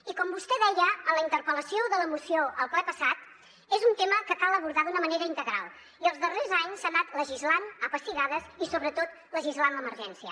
i com vostè deia en la interpel·lació de la moció al ple passat és un tema que cal abordar d’una manera integral i els darrers anys s’ha anat legislant a pessigades i sobretot legislant l’emergència